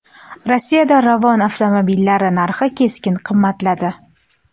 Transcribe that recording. Rossiyada Ravon avtomobillari narxi keskin qimmatladi.